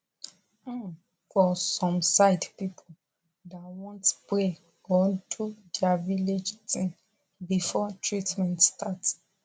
um for some side pipu da want pray or do dia village tin before treatment start